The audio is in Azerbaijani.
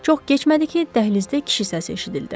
Çox keçmədi ki, dəhlizdə kişi səsi eşidildi.